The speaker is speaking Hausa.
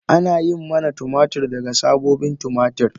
Ana yin manna tumatir daga sabobin tumatir.